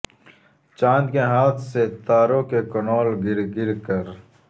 چاند کے ہاتھ سے تاروں کے کنول گر گر کر